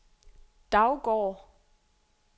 Daugård